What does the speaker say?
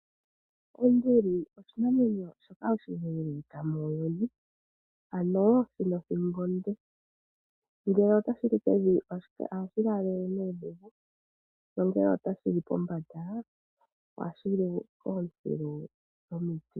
Onduli oshinamwenyo shoka oshileeleka muuyuni ano shina othingo onde ngele otashi li pevi ohashi laalele nuudhigu nongele otashi li pombanda ohashi li ootsilu dhomiti.